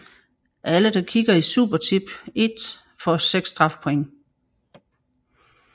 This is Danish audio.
Alle der kikker i Supertip I får 6 strafpoint